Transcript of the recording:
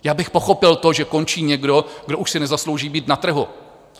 Já bych pochopil to, že končí někdo, kdo už si nezaslouží být na trhu.